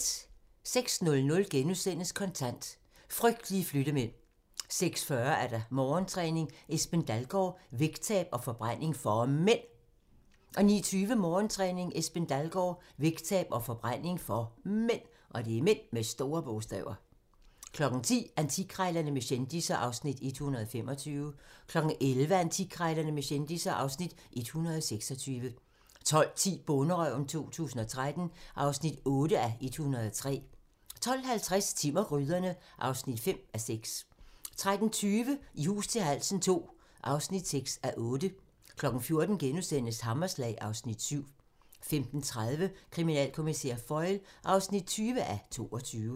06:00: Kontant: Frygtelige Flyttemænd * 06:40: Morgentræning: Esben Dalgaard - vægttab og forbræning for MÆND 09:20: Morgentræning: Esben Dalgaard - vægttab og forbræning for MÆND 10:00: Antikkrejlerne med kendisser (Afs. 125) 11:00: Antikkrejlerne med kendisser (Afs. 126) 12:10: Bonderøven 2013 (8:103) 12:50: Timm og gryderne (5:6) 13:20: I hus til halsen II (6:8) 14:00: Hammerslag (Afs. 7)* 15:30: Kriminalkommissær Foyle (20:22)